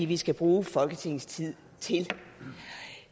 vi skal bruge folketingets tid til